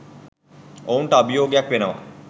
ඔවුන්ට අභියෝගයක් වෙනවා.